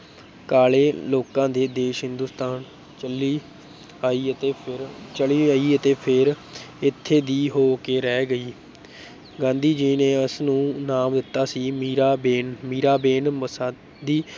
ਕਾਲੇ ਲੋਕਾਂ ਦੇ ਦੇਸ ਹਿੰਦੁਸਤਾਨ ਚੱਲੀ ਆਈ ਅਤੇ ਫਿਰ ਚਲੀ ਆਈ ਅਤੇ ਫਿਰ ਇੱਥੇ ਦੀ ਹੋ ਕੇ ਰਹਿ ਗਈ ਗਾਂਧੀ ਜੀ ਨੇ ਉਸਨੂੰ ਨਾਮ ਦਿੱਤਾ ਸੀ ਮੀਰਾਬੇਨ ਮੀਰਾਬੇਨ ਮੁਸਾਦੀ